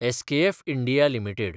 SKF India limited